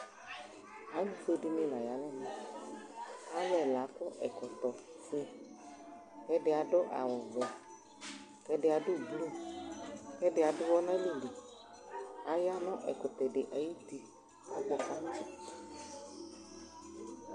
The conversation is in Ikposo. alofue di ni la ya n'ɛmɛ alo ɛla akɔ ɛkɔtɔ fue kò ɛdi ado awu vɛ kò ɛdi ado blu kò ɛdi ado uwɔ n'alɛ li aya no ɛkutɛ di ayiti akpɔ kanò